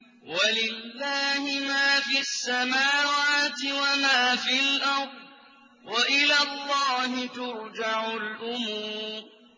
وَلِلَّهِ مَا فِي السَّمَاوَاتِ وَمَا فِي الْأَرْضِ ۚ وَإِلَى اللَّهِ تُرْجَعُ الْأُمُورُ